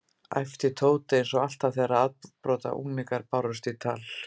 æpti Tóti, einsog alltaf þegar afbrotaunglingar bárust í tal.